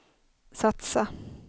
satsa